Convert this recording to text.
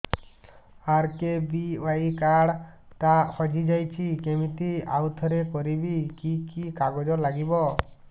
RKBY card ଟା ହଜିଯାଇଛି କିମିତି ଆଉଥରେ କରିବି କି କି କାଗଜ ଲାଗିବ